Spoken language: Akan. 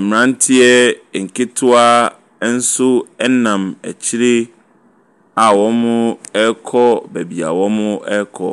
Mmeranteɛ nketewa nso nam akyire a wɔrekɔ baabi a wɔrekɔ.